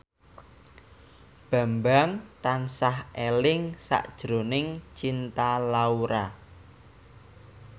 Bambang tansah eling sakjroning Cinta Laura